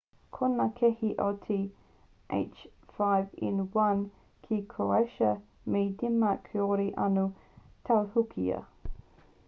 ko ngā kēhi o te h5n1 ki croatia me denmark kāore anō i tautohukia